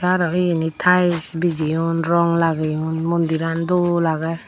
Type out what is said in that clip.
arow eyeni tiles bijeyon rong lageyon mondirano dol agey.